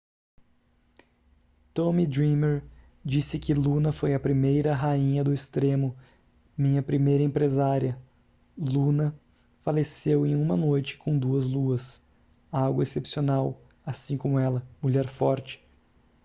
tommy dreamer disse que luna foi a primeira rainha do extremo minha primeira empresária luna faleceu em uma noite com duas luas algo excepcional assim como ela mulher forte